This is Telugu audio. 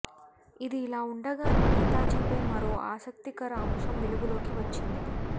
ఇది ఇలా ఉండగానే నేతాజీపై మరో ఆసక్తికర అంశం వెలుగులోకి వచ్చింది